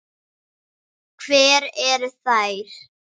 Hvar eru þær?